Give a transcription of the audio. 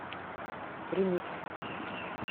ремикс